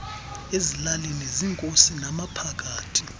ezilalini ziinkosi namaphakathi